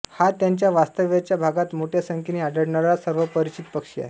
हा त्याच्या वास्तव्याच्या भागात मोठ्या संख्येने आढळणारा सर्वपरिचित पक्षी आहे